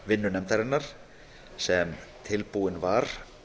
vinnu nefndarinnar sem tilbúinn var